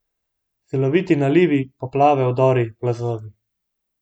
Siloviti nalivi, poplave, udori, plazovi.